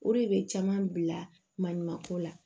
O de bɛ caman bila maɲumanko la